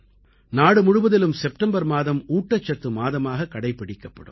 நாடு முழுவதிலும் செப்டெம்பர் மாதம் ஊட்டச்சத்து மாதமாகக் கடைப்பிடிக்கப்படும்